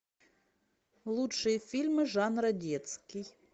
лучшие фильмы жанра детский